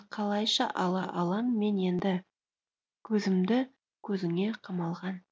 қалайша ала алам мен енді көзімді көзіңе қамалған